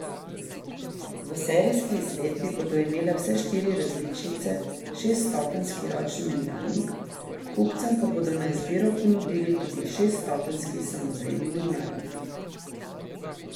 V serijski izvedbi bodo imele vse štiri različice šeststopenjski ročni menjalnik, kupcem pa bodo na izbiro ponudili tudi šeststopenjski samodejni menjalnik.